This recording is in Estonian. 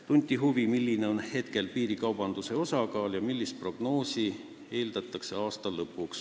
Tunti huvi, milline on praegu piirikaubanduse osakaal ja mida prognoositakse aasta lõpuks.